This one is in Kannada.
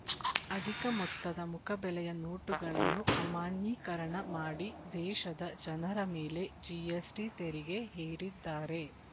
ಅಧಿಕ ಮೊತ್ತದ ಮುಖಬೆಲೆಯ ನೋಟುಗಳನ್ನು ಅಮಾನ್ಯೀಕರಣ ಮಾಡಿ ದೇಶದ ಜನರ ಮೇಲೆ ಜಿಎಸ್‌ಟಿ ತೆರಿಗೆ ಹೇರಿದ್ದಾರೆ